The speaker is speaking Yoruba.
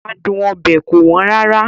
Adun obe kò wọ́n rárá.